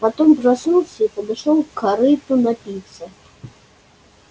потом проснулся и подошёл к корыту напиться